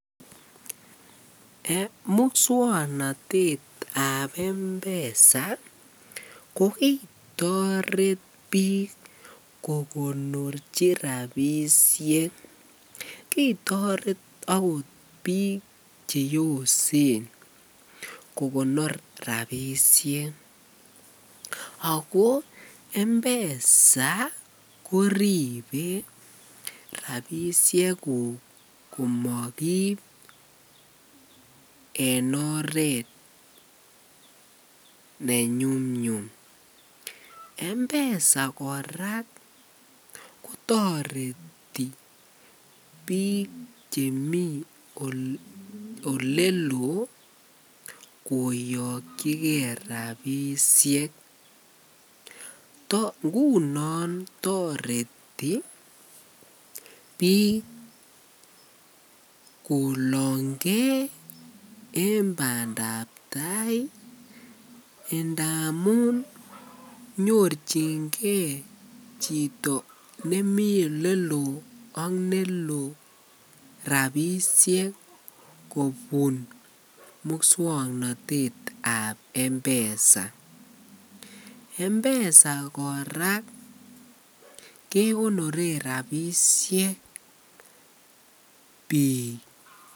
Muswoknotetab mpesa ko kitoret biik kokonorchi rabishek, kitoret akot biik cheyosen kokonor rabishek ak ko mpesa koribe rabishekuk komokiib en oreet ne nyumnyum, mpesa kora kotoreti biik chemii oleloo koyokyike rabishek, ngunon toreti biik kolonge en bandab taai ndamun nyorchinge chito nemii eleloo ak neloo rabishek kobun muswoknotetab mpesa, mpesa kora kekonoren rabishek biik.